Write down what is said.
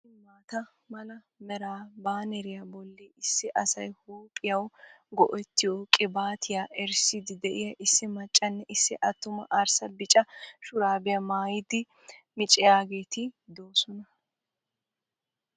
Issi maata mala mera baaneriya bolli issi asay huuphphiyawu go'ettiyo qibaattiya erissidi de'iya issi maccanne issi attuma arssa bicca shurabiyaa maayidi micciyageetti doosonna.